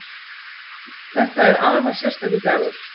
Þetta er afar sérstakur dagur